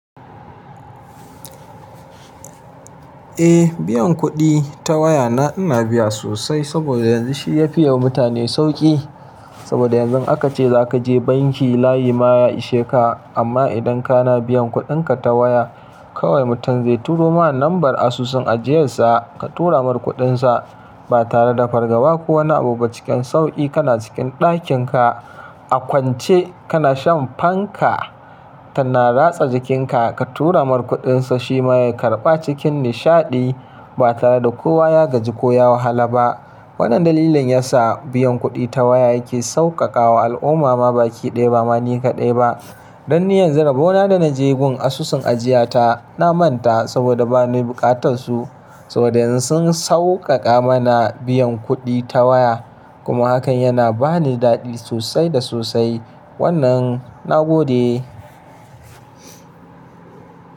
Eh biyan kuɗi ta waya na ina biya sosai saboda yanzu shi ya fi yi wa mutane sauƙi. Saboda yanzu aka ce za ka je banki layi ma ya ishe ka. Amma idan ka na biyan kuɗinka ta waya, kawai mutum zai turo ma lambar asusun ajiyarsa, ka tura mar kuɗinsa ba tare da fargaba ko wani abu ba. Cikin sauƙi kana cikin ɗakinka a kwance kana shan fanka tana ratsa jikinka ka tura marar kuɗinsa shi ma ya karɓa cikin nishaɗi ba tare da kowa ya gaji ko ya wahala ba. Wannan dalilin yasa biyan kuɗi ta waya yake sauƙaƙawa al'umma ma baki ɗaya ba ma ni kaɗai ba. Dan ni yanzu rabo na da na je gun asusun ajiya ta, na manta saboda ba na yi buƙatar su. Saboda yanzu sun sauƙaƙa mana biyan kuɗi ta waya. Kuma hakan yana ba ni daɗi sosai da sosai. Wannan na gode.